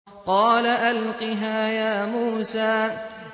قَالَ أَلْقِهَا يَا مُوسَىٰ